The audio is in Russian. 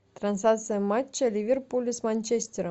трансляция матча ливерпуля с манчестером